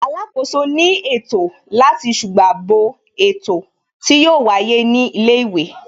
Alákòóso ní ètò láti ṣùgbà bo ètò tí yóò wáyé ní ilé ìwé